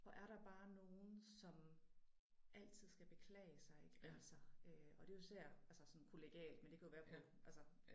Hvor er der bare nogle som altid skal beklage sig ik altså øh og det jo især altså sådan kollegialt men det kan jo være på altså